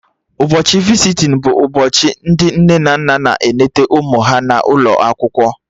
Ụbọchị visitin bụ ụbọchị ndị nne na nna na-eneta ụmụ ha n'ụlọ akwụkwọ